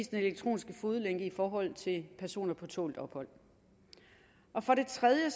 den elektroniske fodlænke i forhold til personer på tålt ophold for det tredje